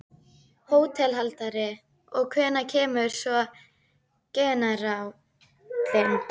HÓTELHALDARI: Og hvenær kemur svo generállinn?